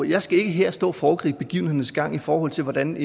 jeg skal ikke her stå og foregribe begivenhedernes gang i forhold til hvordan